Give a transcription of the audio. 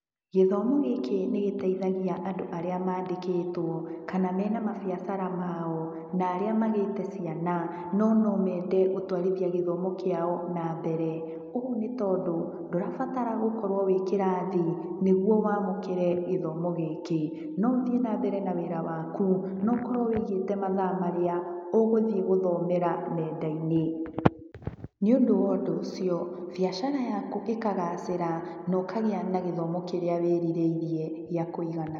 Gĩthomo gĩkĩ nĩgĩteithagia andũ arĩa mandĩkĩtwo, kana mena mabiacara mao, na arĩa magĩte ciana, no nomende gũtwarithia gĩthomo kĩao na mbere. Ũũ nĩ tondũ, ndũrabatara gũkorwo wĩ kĩrathi, nĩguo waamũkĩre gĩthomo gĩkĩ, no ũthiĩ na mbere na wĩra waku, no ũkorwo wĩigĩte mathaa marĩa ũgũthiĩ gũthomera nenda-inĩ. Nĩũndũ wa ũndũ ũcio, biacara yaku ĩkagacĩra na ũkagĩa na gĩthomo kĩrĩa wĩrirĩirie, gĩa kũigana.